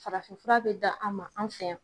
Farafinfura be da an ma an fɛ yan